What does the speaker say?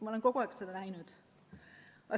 Ma olen kogu aeg seda näinud.